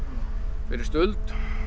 fyrir stuld